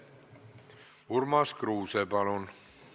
Urmas Kruuse, palun!